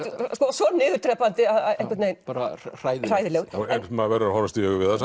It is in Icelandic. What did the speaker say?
svo niðurdrepandi hræðilegur en maður verður að horfast í augu við